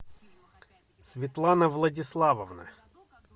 светлана владиславовна